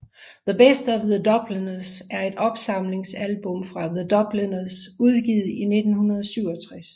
The Best of The Dubliners er et opsamlingsalbum fra The Dubliners udgivet i 1967